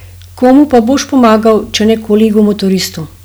Komu pa boš pomagal, če ne kolegu motoristu?